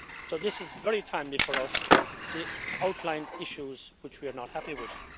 So this is very timely for us to outline issues which we are not happy with.